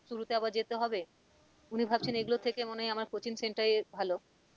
শুরুতে আবার যেতে হবে উনি ভাবছেন এগুলোর থেকে মনে হয় আমার coaching centre ই ভালো